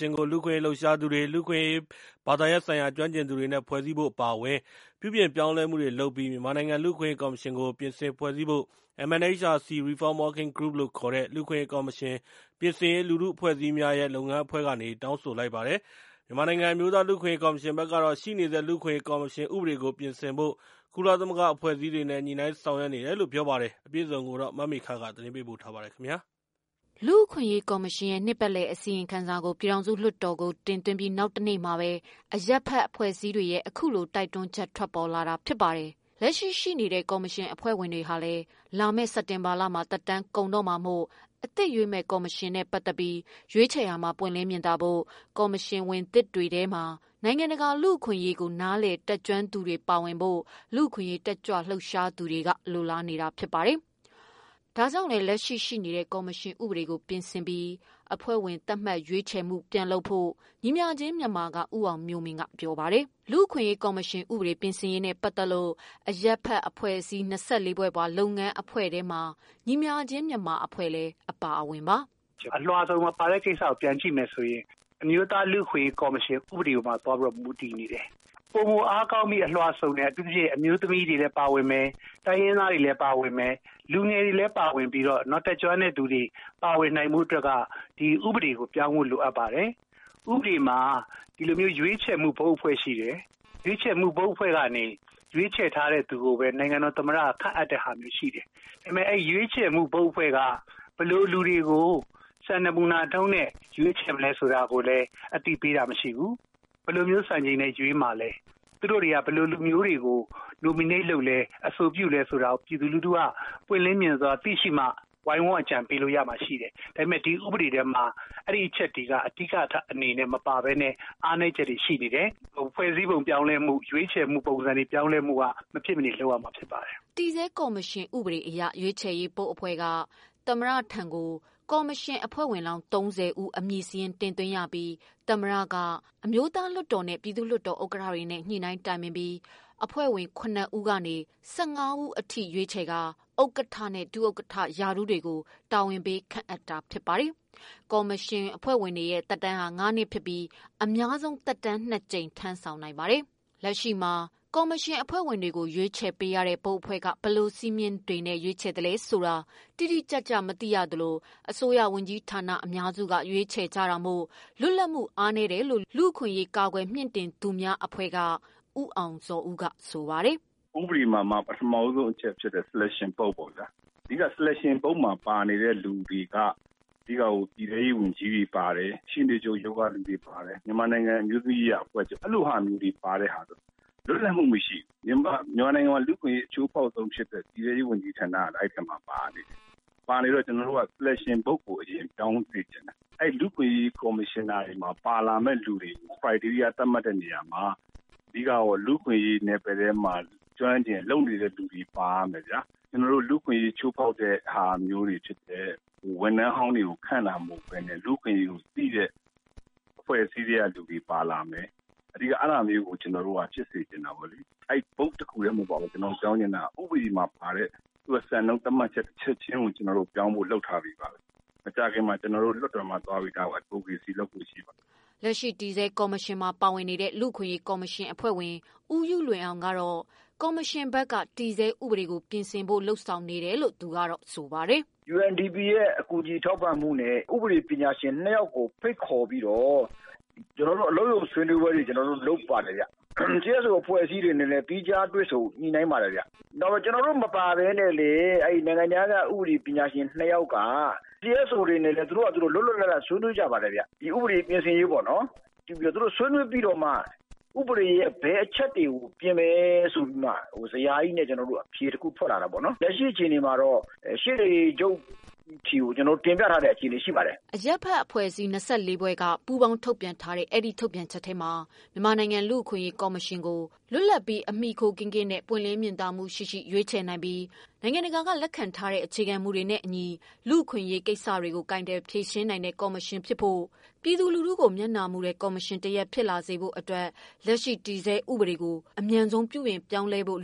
ှင်ကို လူ့အခွင့်အရေး လှုပ်ရှားသူတွေ လူ့အခွင့်အရေး ဘာသာရပ်ဆိုင်ရာ ကျွမ်းကျင်သူတွေနဲ့ ဖွဲ့စည်းဖို့ အပါအဝင် ပြုပြင်ပြောင်းလဲမှုတွေ လုပ်ပြီး မြန်မာနိုင်ငံ လူ့အခွင့်အရေး ကော်မရှင်ကို ပြင်ဆင်ဖွဲ့စည်းဖို့ MNHRC Reform Working Group လို့ခေါ်တဲ့ လူ့အခွင့်အရေး ကော်မရှင်ပြင်ဆင်ရေး လူထုအဖွဲ့အစည်းများရဲ့ လုပ်ငန်းအဖွဲ့ကနေ တောင်းဆို လိုက်ပါတယ်။ မြန်မာနိုင်ငံ အမျိုးသား လူ့အခွင့်အရးကော်မရှင်ဖက်ကတော့ ရှိနေတဲ့ လူ့အခွင့်အရေးကော်မရှင် ဥပဒေကို ပြင်ဆင်ဖို့ ကုလအဖွဲ့အစည်းတွေနဲ့ ညှိုနှိုင်းဆောင်ရွက် နေတယ်လို့ ပြောပါတယ်။ မမေခ သတင်းပေးပို့ ထားတာပါ။ လူ့အခွင့်အရေးကော်မရှင်ရဲ့ နှစ်ပတ်လည်အစီရင်ခံစာကို ပြည်ထောင်စုလွှတ်တော်ကို တင်သွင်းပြီး၊ နောက်တနေ့မှာပဲ အရပ်ဖက်အဖွဲ့အစည်းတွေရဲ့ အခုလို တိုက်တွန်းချက် ထွက်ပေါ်လာတာပါ။ လက်ရှိ ရှိနေတဲ့ ကော်မရှင်အဖွဲ့ဝင်တွေဟာလည်း လာမယ့် စက်တင်ဘာလမှာ သက်တမ်းကုန်တော့မို့ အသစ်ရွေးမယ့် ကော်မရှင်နဲ့ ပတ်သက်ပြီး ရွေးချယ်ရာမှာ ပွင့်လင်းမြင်သာဖို့၊ ကော်မရှင် ဝင်သစ်တွေထဲမှာ နိုင်ငံတကာ လူ့အခွင့်အရေးကို နားလည်တတ်ကျွမ်းသူတွေပါဝင်ဖို့ လူ့အခွင့်အရေး တတ်ကြွလှုပ်ရှားသူတွေက လိုလားနေတာပါ။ ဒါကြောင့်လည်း လက်ရှိရှိနေတဲ့ ကော်မရှင်ဥပဒေကို ပြင်ဆင်ပြီးအဖွဲ့ဝင် သတ်မှတ်ရွေးချယ်မှု ပြန်လုပ်ဖို့ ညီမျှခြင်း မြန်မာက ဦးအောင်မျိုးမင်းက ပြောပါတယ်။ လူ့အခွင့်အရေး ကော်မရှင် ပြင်ဆင်ရေးနဲ့ ပတ်သက်လို့ အရပ်ဖက်အဖွဲ့အစည်း ၂၄ ဖွဲ့ပါ လုပ်ငန်းအဖွဲ့ထဲမှာ ညီမျှခြင်း မြန်မာအဖွဲ့လည်း အပါအဝင်ပါ။ “ အလွှာစုံမပါတဲ့ ကိစ္စကိုပြန်ကြည့်မယ်ဆိုရင် အမျိုးသားလူ့အခွင့်အရေး ကော်မရှင်ရဲ့ ဥပဒေ ပေါ်မူတည်နေတယ်။ ပိုမိုအားကောင်းပြီး အလွှာစုံပါဖို့ အထူးသဖြင့် အမျိုးသမီးတွေ၊ တိုင်းရင်းသားတွေ၊ လူငယ်တွေ ပါဝင်ပြီးတော့ နောက် တတ်ကျွမ်းတဲ့ သူတွေ ပါဝင်နိုင်ဖို့အတွက် ဆိုရင် ဥပဒေကို ပြောင်းဖို့ လိုအပ်ပါ တယ်။ ဥပဒေမှာ ရွေးချယ်တဲ့ ဘုတ်အဖွဲ့ရှိတယ်။ ရွေးချယ်တဲ့ ဘုတ်အဖွဲ့ကနေ ရွေးချယ်တဲ့သူကိုပဲ နိုင်ငံတော် သမ္မတက ခန့်အပ်တာ ရှိတယ်။ အဲရွေးချယ်ရေး အဖွဲ့က ဘယ်လိုလူတွေကို စံနမူနာနဲ့ရွေးလဲဆိုတာ အသိပေးတာမရှိဘူး။ ဘယ်လို စံချိန်နဲ့ ရွေးမှာလည်း ၊ သူတို့တွေက ဘယ်လိုလူမျိုးတွေကို Nominate လုပ်လဲ အဆိုပြုလဲဆိုတာကိုပြည်သူလူထုက ပွင့်လင်းမြင်သာစွာသိမှ ဝိုင်းအကြံပေးလို့ရမယ်။ ဒီဥပဒေမှာ အဲအချက်တွေက အဓိကအနေနဲ့ မပါဘဲ အားနည်းချက်တွေရှိနေတယ်။ ဖွဲ့စည်းပုံပြောင်းလဲမှု ရွေးချယ်မှုပုံစံတွေ ပြောင်းလဲမှုက မဖြစ်မနေ လုပ်ရမှာဖြစ်ပါတယ်။” တည်ဆဲ ကော်မရှင်ဥပဒေအရ ရွေးချယ်ရေးဘုတ်အဖွဲ့က သမ္မတထံကို ကော်မရှင်အဖွဲ့ဝင်လောင်း ၃၀ဦး အမည်စာရင်း တင်သွင်းရတာပါ။ သမ္မတက အမျိုးသားလွှတ်တော်နဲ့ ပြည်သူ့လွှတ်တော် ဥက္ကဌတွေနဲ့ ညှိနှိုင်းတိုင်ပင်ပြီး အဖွဲ့ဝင်ခုနစ်ဦးမှ ဆယ့်ငါးဦးအထိ ရွေးချယ်ကာ ဥက္ကဌ နဲ့ ဒုဥက္ကဌ ရာထူးများကို တာဝန်ပေးခန့်အပ်တာဖြစ်ပါတယ်။ ကော်မရှင်အဖွဲ့ဝင်၏ သက်တမ်းမှာ ငါးနှစ်ဖြစ်ပြီး အများဆုံးသက်တမ်းနှစ်ကြိမ် ထမ်းဆောင်နိုင်ပါတယ်။ လက်ရှိမှာ ကော်မရှင်အဖွဲ့ဝင်တွေကိုရွေးချယ်ပေးရတဲ့ ဘုတ်အဖွဲ့က ဘယ်လိုစည်းမျဉ်းတွေနဲ့ ရွေးချယ်သလဲဆိုတာ တိတိကျ ကျမသိရသလို အစိုးရဝန်ကြီးဌာန အများစုက ရွေးချယ်ကြတာမို့ လွတ်လပ်မှု အားနည်းတယ်လို့ လူ့အခွင့်အရေးလှုပ်ရှားသူ လူ့အခွင့်အရေး ကာကွယ်မြှင့်တင်သူများ အဖွဲ့က ဦးအောင်ဇော်ဦးက ဆိုပါတယ်။ “ဥပဒေမှာ ပထမဦးဆုံးအချက်ဖြစ်တဲ့ Selection ဘုတ်ပေါ့ဗျာ ။ အဓိက Selection ဘုတ်မှာ ပါတဲ့ သူတွေက ပြည်ထဲရေးတို့ ၊ ရှေ့နေချုပ်ရုံးတို့ ၊ မြန်မာနိုင်ငံ အမျိုးသမီးရေးရာအဖွဲ့တွေ ပါတယ်။ အဲလိုဟာမျိူးကျတော့ လွတ်လပ်မှုမရှိဘူး။ မြန်မာနိုင်ငံမှာ လူ့အခွင့်အရေးချိုးဖောက်ဆုံးဖြစ်တဲ့ ပြည်ထဲရေးဝန်ကြီးဌာနက အဲဒီအထဲမှာ ပါနေတယ်။ အဲဒါကြောင့်ကျနော်တို့ က Selection ဘုတ်ကို အရင်ပြောင်းစေချင်တယ်။ လူ့အခွင့်အရေးကော်မရှင်ထဲမှာ ပါဝင်မယ့်လူတွေရဲ့ အရည်အချင်းကို သတ်မှတ်တဲ့နေရာမှာ အဓိကတော့ လူ့အခွင့်အရေးနယ်ပယ်ထဲမှာ ကျွမ်းကျွမ်းကျင်ကျင် လုပ်နေသူတွေပါဝင်ရမယ်ဗျာ။ ကျနော်တို့ လူ့အခွင့်အရေး ချိုးဖောက်တဲ့ဟာမျိုးတွေဖြစ်တဲ့ ဝန်ထမ်းဟောင်းတွေကို ခန့်တာမဟုတ်ပဲနဲ့ လူ့အခွင့်အရေးကို သိတဲ့ အဖွဲ့အစည်းထဲက လူတွေပါလာမယ် အဓိက အဲဒါလေးကို ကျနော်တို့ ဖြစ်စေချင်တာပေါ့လေ။ ဘုတ်တခုတည်းမဟုတ်ပါဘူး ကျနော်ပြောင်းစေချင်တာက ဥပဒေမှာပါတဲ့ စံနှုန်းသတ်မှတ်ချက် တချက်ချင်းကို ပြောင်းဖို့ ကျနော်တို့ လုပ်ထားပြီးပါပြီ။ မကြာချင်မှာ ကျနော်တို့ လွှတ်တော်ကိုသွားပြီး Advocacy လုပ်ဖို့ရှိပါတယ်။” လက်ရှိတည်ဆဲ ကော်မရှင်မှာပါဝင်နေတဲ့ လူ့အခွင့်အရေးကော်မရှင် အဖွဲ့ဝင် ဦးယုလွင်အောင်ကတော့ ကော်မရှင်ဘက်က တည်ဆဲ ဥပဒေကိုပြင်ဆင်ဖို့လုပ်နေတယ်လို့ ဆိုပါတယ်။ “ UNDP အကူအညီနဲ့ ဥပဒေပညာရှင် ၂ယောက်ကိုဖိတ်ခေါ်ပြီးတော့ ကျနော်တို့ အလုပ်ရုံ ဆွေးနွေးပွဲတွေလုပ်ပါတယ်။ CSO အဖွဲ့တွေနဲ့လည်း သီးခြားတွေ့ဆုံ ဆွေးနွေးမှုတွေ လုပ်တယ်။ ကျနော်တို့မပါဘဲနဲ့လဲ နိုင်ငံခြားက ဥပဒေပညာရှင် ၂ ယောက်ကCSO တွေနဲ့ လွတ်လွတ်လပ်လပ် ဆွေးနွေးကြပါတယ်။ ဥပဒေပြင်ဆင်ရေးပေါ့နော်၊ ဆွေးနွေးပြီး ဥပဒေရဲ့ ဘယ်အချက်တွေပြင်မယ် ဆိုပြီးမှ ဇယားကြီးနဲ့ အဖြေတခုထွက်လာတာပေါ့နော်။ ရှေ့နေချုပ်ဆီ ကျနော်တို့ တင်ပြထားတာရှိပါတယ်။” အရပ်ဘက်အဖွဲ့အစည်းများ ၂၄ ဖွဲ့က ပူးပေါင်းထုတ်ပြန်တဲ့ အဲဒီ ထုတ်ပြန်ချက်ထဲမှာ မြန်မာနိုင်ငံ အမျိုးသား လူ့အခွင့်အရေးကော်မရှင်ကို လွတ်လပ်ပြီး အမှီခိုကင်းကင်းနဲ့ ပွင့်လင်းမြင်သာမှုရှိရှိ နိုင်ငံတကာ ကလက်ခံထားတဲ့ အခြေခံမူများနဲ့ အညီ လူ့အခွင့်အရေးကိစ္စရပ်တွေကို အမှန်တကယ် ကာကွယ်မြှင့်တင်ပေးနိုင်တဲ့ အဖွဲ့ဖြစ်ဖို့နဲ့ ပြည်သူလူထုကိုမျက်နှာမှုနိုင်သော ကော်မရှင် တစ်ရပ်ဖြစ်လာစေဖို့ အတွက် အမြန်ဆုံးပြုပြင်ပြောင်းလဲ ပေးဖို့